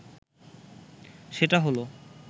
সেটা হলো